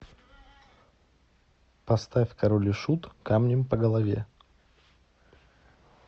поставь король и шут камнем по голове